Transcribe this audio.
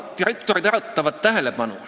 Direktorid äratavad tähelepanu.